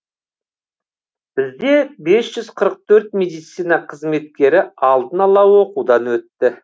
бізде бес жүз қырық төрт медицина қызметкері алдын ала оқудан өтті